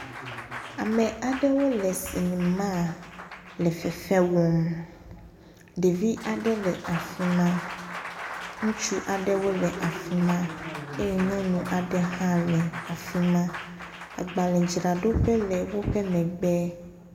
Ame aɖewo le sinimaa le fefe wɔm, ɖevi aɖe le afi ma, ŋutsu aɖewo le afi ma eye nyɔnu aɖe hã le afi ma. Agbalẽdzraɖoƒe aɖe le woƒe megbe.